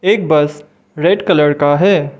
एक bus red colour का है।